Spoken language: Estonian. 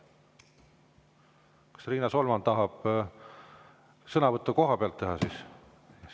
Kas Riina Solman tahab teha sõnavõttu kohapealt?